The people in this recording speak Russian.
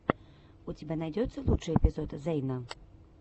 у тебя найдется лучший эпизод зэйна